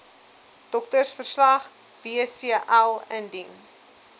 doktersverslag wcl indien